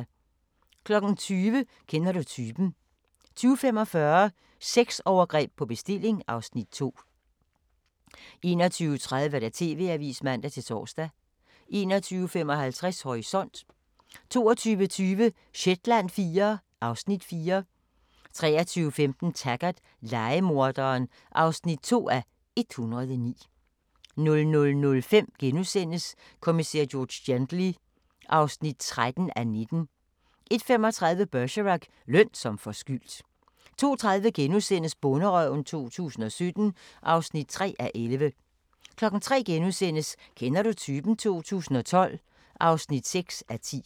20:00: Kender du typen? 20:45: Sexovergreb på bestilling (Afs. 2) 21:30: TV-avisen (man-tor) 21:55: Horisont 22:20: Shetland IV (Afs. 4) 23:15: Taggart: Lejemorderen (2:109) 00:05: Kommissær George Gently (13:19)* 01:35: Bergerac: Løn som forskyldt 02:30: Bonderøven 2017 (3:11)* 03:00: Kender du typen? 2012 (6:10)*